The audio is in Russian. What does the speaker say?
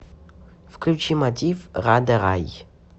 включи мотив рада рай